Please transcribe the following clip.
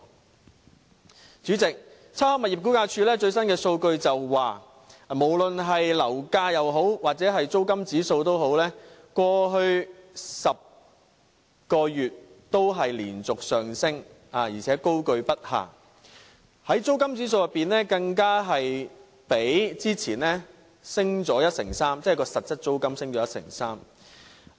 代理主席，差餉物業估價署的最新數據顯示，不論樓價或租金指數，在過去10個月也連續上升，高踞不下，租金指數即實質租金更較之前上升 13%。